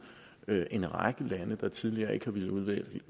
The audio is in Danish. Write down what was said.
en række lande der tidligere ikke har villet